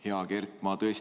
Hea Kert!